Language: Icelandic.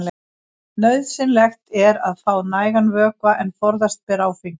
Nauðsynlegt er að fá nægan vökva en forðast ber áfengi.